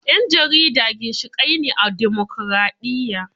Yan jarida ginshiƙai ne a dimokraɗiyya